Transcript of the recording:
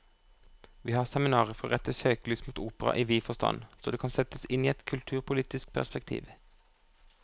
Vi har seminaret for å rette søkelyset mot opera i vid forstand, så det kan settes inn i et kulturpolitisk perspektiv.